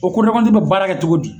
O ko be baara kɛ cogo di?